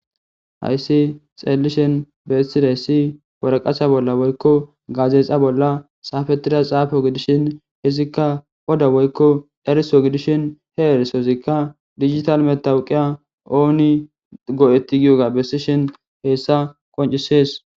Hayssi xeelishen bessideyssi worqasa bolla woykko gazexa bolla xaafetida xaafo gidishin hizikka oda woykko eriso gidishin he erisozikka digital metawuqiya ooni go7etti giyoga bessishin heessa qoncisees.